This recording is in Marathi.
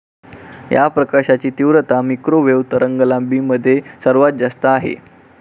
या प्रकाशाची तीव्रता मिक्रोवेव्ह तरंगलांबीमध्ये सर्वात जास्त आहे.